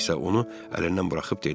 Hersoğ isə onu əlindən buraxıb dedi: